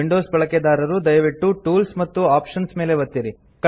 Windows ಬಳಕೆದಾರರು ದಯವಿಟ್ಟು tools ಮತ್ತು ಆಪ್ಷನ್ಸ್ ಮೇಲೆ ಒತ್ತಿರಿ